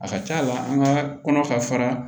A ka ca la an ka kɔnɔ ka fara